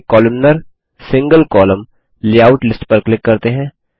चलिए columnar single column layout list पर click करते हैं